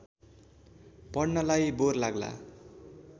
पढ्नलाई bore लाग्ला